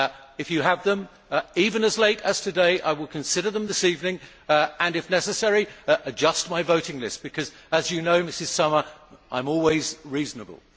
If you have them, even as late as today, I will consider them this evening and, if necessary, adjust my voting list because, as you know, Ms Sommer, I am always reasonable.